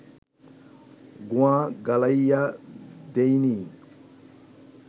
গুয়া গালাইয়া দিইনি